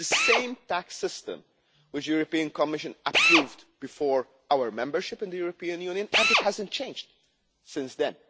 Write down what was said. It is the same tax system which the Commission approved before our membership of the European Union and it has not changed since